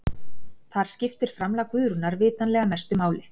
þar skiptir framlag guðrúnar vitanlega mestu máli